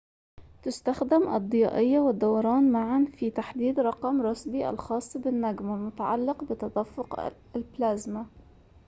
تستخدم الضيائيّة والدوران معاً في تحديد رقم روسبي الخاص بالنجم والمتعلّق بتدفّق البلازما